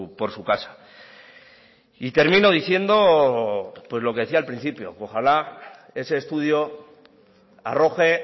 por su casa y termino diciendo pues lo que decía al principio que ojalá ese estudio arroje